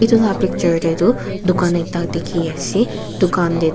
etu la picture deh du dukha ekta dikhi asey duka deh du.